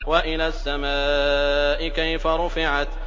وَإِلَى السَّمَاءِ كَيْفَ رُفِعَتْ